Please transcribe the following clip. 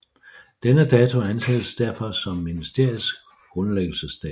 Denne dato anses derfor som ministeriets grundlæggelsesdato